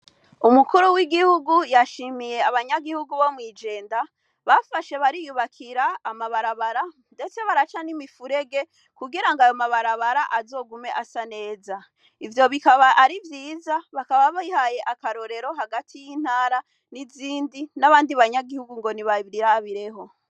Umukuru w'igihugu yashimiye abanyagihugu bo mw'ijenda bafashe bariyubakira amabarabara, ndetse baraca n'imifurege kugira ngo ayo mabarabara azogume asa neza ivyo bikaba ari vyiza bakaba bihaye akarorero hagati y'intara n'izindi n'abandi banyagihugu ngo ni bairabireho.